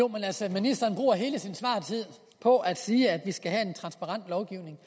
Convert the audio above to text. ministeren bruger hele sin svartid på at sige at vi skal have en transparent lovgivning